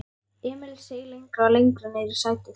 Emil seig lengra og lengra niðrí sætið.